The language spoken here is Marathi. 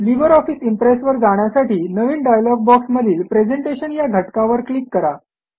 लिबर ऑफिस इम्प्रेसवर जाण्यासाठी नवीन डायलॉग बॉक्समधील प्रेझेंटेशन या घटकावर क्लिक करा